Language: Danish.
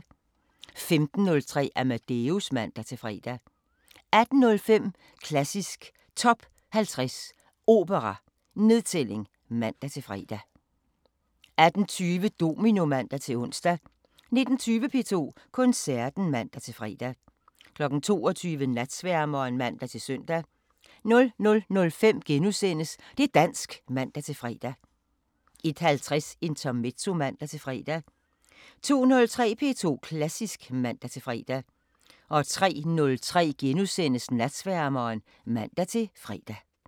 15:03: Amadeus (man-fre) 18:05: Klassisk Top 50 Opera: Nedtælling (man-fre) 18:20: Domino (man-ons) 19:20: P2 Koncerten (man-fre) 22:00: Natsværmeren (man-søn) 00:05: Det' dansk *(man-fre) 01:50: Intermezzo (man-fre) 02:03: P2 Klassisk (man-fre) 03:03: Natsværmeren *(man-fre)